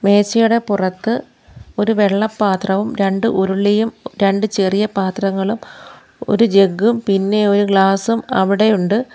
മേശയുടെ പുറത്ത് ഒരു വെള്ള പാത്രവും രണ്ടു ഉരുളിയും രണ്ട് ചെറിയ പാത്രങ്ങളും ഒരു ജഗ്ഗും പിന്നെ ഒരു ഗ്ലാസ് അവിടെയുണ്ട്.